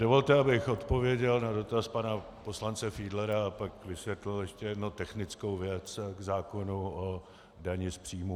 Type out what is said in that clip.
Dovolte, abych odpověděl na dotaz pana poslance Fiedlera a pak vysvětlil ještě jednu technickou věc k zákonu o dani z příjmů.